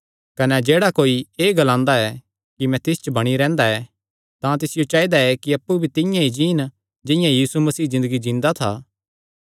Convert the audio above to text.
कने जेह्ड़ा कोई एह़ ग्लांदा ऐ कि मैं तिस च बणी रैंह्दा ऐ तां तिसियो चाइदा कि अप्पु भी तिंआं ई जीन जिंआं यीशु मसीह ज़िन्दगी जींदा था